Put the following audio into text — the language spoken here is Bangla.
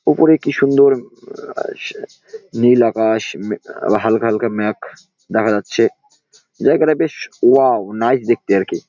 ওপরে কি সুন্দর আহ নীল আকাশ আহ হালকা হালকা মেঘ দেখা যাচ্ছে । জায়গাটা বেশ ওয়াও নাইস দেখতে আর কি ।